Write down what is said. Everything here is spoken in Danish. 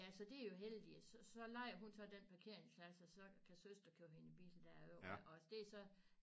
Ja så det jo heldig så lejer hun så den parkeringsplads og så kan søster køre hendes bil derover og det så